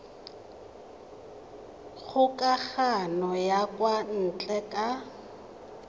kgokagano ya kwa ntle ka